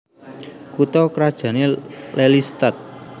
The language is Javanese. Kutha krajané Lelystad